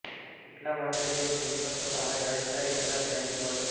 એટલા માટે જો થઇ શકે તો આ જાણકારી જરા ધ્યાનથી વાંચો